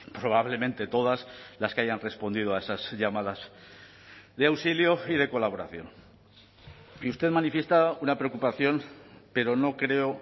probablemente todas las que hayan respondido a esas llamadas de auxilio y de colaboración y usted manifiesta una preocupación pero no creo